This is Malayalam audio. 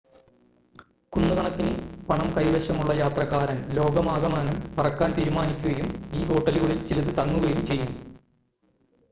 കുന്നുകണക്കിന് പണം കൈവശമുള്ള യാത്രക്കാരൻ ലോകമാകമാനം പറക്കാൻ തീരുമാനിക്കുകയും ഈ ഹോട്ടലുകളിൽ ചിലത് തങ്ങുകയും ചെയ്യും